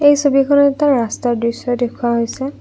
এই ছবিখনত এটা ৰাস্তাৰ দৃশ্য দেখুওৱা হৈছে।